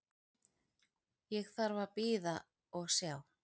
Ég þarf að bíða og sjá.